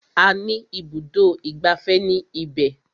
A ní ibùdó ìgbafẹ́ ní ibẹ̀.